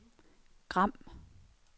Gram